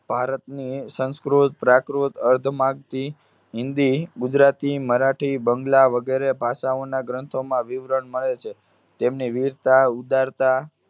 ભારતની સંસ્કૃત પ્રાકૃત અધમાગી હિન્દી ગુજરાતી મરાઠી બાંગ્લા વગેરે ભાષાઓના ગ્રંથોમાં વિવરણ મળે છે. તેમની વીરતા ઉદારતા